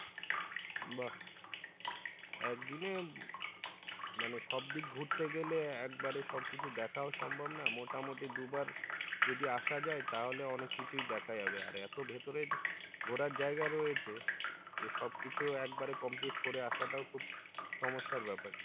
মানে সব দিক ঘুরতে গেলে একবারে সবকিছু দেখাও সম্ভব না মোটামুটি দুইবার যদি আসা যায় তাহলে অনেক কিছুই দেখা যাবে আর এতো ভিতরে ঘোরার জায়গা রয়েছে যে সবকিছু একবারে complete করা আসাটাও খুব সমস্যার ব্যাপার।